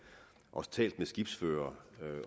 og talt med skibsførere